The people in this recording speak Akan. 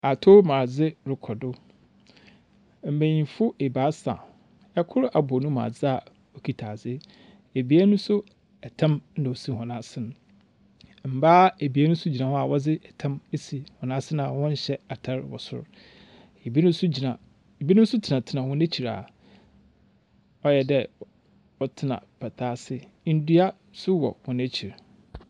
Atomadze rekɔdo mbanyinfo ebaasa ɛkor abɔ ne mu adze aa okita adze ebien so ɛtam ɛna osi wɔn ase no. Mbaa ebien nso gyina hɔ aa wɔdze ɛtam esi wɔn ase aa wɔnhyɛ atar wɔ sor. Ebi nom so tena tena wɔn ekyir aa ɔyɛ dɛɛ wɔ tena pataa ase. Ndua so wɔ wɔn ekyir.